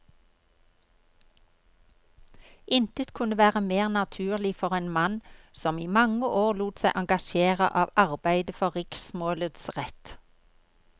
Intet kunne være mer naturlig for en mann som i mange år lot seg engasjere av arbeidet for riksmålets rett.